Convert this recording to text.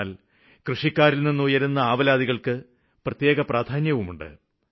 എന്നാല് കൃഷിക്കാരില്നിന്ന് ഉയരുന്ന സ്വരങ്ങള്ക്ക് പ്രത്യേക പ്രാധാന്യമുണ്ട്